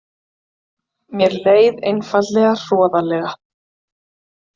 Mér leið einfaldlega hroðalega.